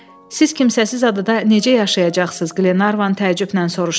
Siz kimsəsiz adada necə yaşayacaqsız, Qlenarvan təəccüblə soruşdu.